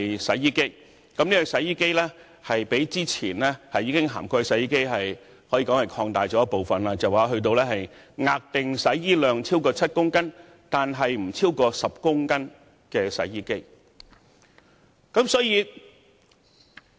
洗衣機在上一階段已涵蓋，但現階段擴大至額定洗衣量超過7公斤，但不超過10公斤的洗衣機。